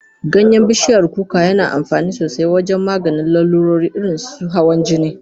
Ganyen bishiyar kuka na daamfani sosai wajen maganin lalurori irin su hawan jini.